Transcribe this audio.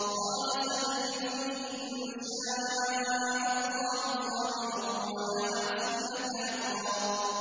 قَالَ سَتَجِدُنِي إِن شَاءَ اللَّهُ صَابِرًا وَلَا أَعْصِي لَكَ أَمْرًا